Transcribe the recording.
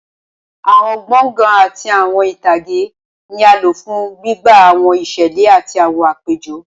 Awọn gbọngàn ati awọn itage ni a lo fun gbigba awọn iṣẹlẹ ati awọn apejọ